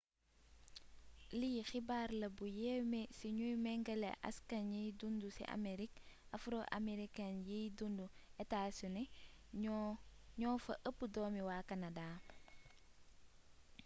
lii xibaar la bu yéeme su ñuy méngale askan yiñ dundu ci amerique afro-americain yiy dundu états-unis ñoo fa ëpp doomi waa canada